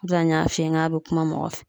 O de la n y'a f'i ye n k'a be kuma mɔgɔ fɛ